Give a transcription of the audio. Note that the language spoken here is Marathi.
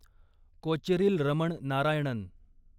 कोचेरिल रमण नारायणन